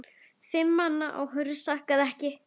Fimm manna áhöfn sakaði ekki.